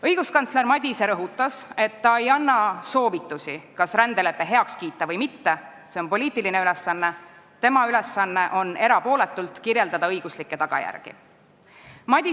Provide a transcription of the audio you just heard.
Õiguskantsler Madise rõhutas, et ta ei anna soovitusi, kas rändelepe heaks kiita või mitte – see on poliitiline ülesanne, tema ülesanne on erapooletult õiguslikke tagajärgi kirjeldada.